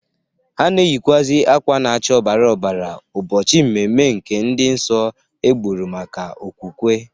Ha na-eyịkwazị akwa na-acha ọbara ọbara ụbọchị mmemme nke ndị nsọ egburu maka okwukwe.